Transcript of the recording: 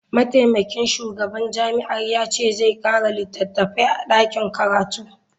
Mataimakin shugaban jami'ar ya ce zai kara litattafai a dakin karatu.